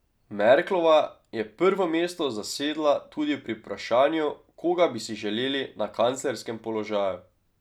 Merklova je prvo mesto zasedla tudi pri vprašanju, koga bi si želeli na kanclerskem položaju.